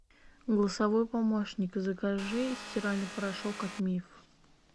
голосовой помощник закажи стиральный порошок от миф